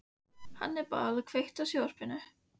Hannibal, kveiktu á sjónvarpinu.